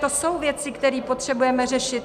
To jsou věci, které potřebujeme řešit.